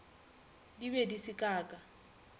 di be di se kaka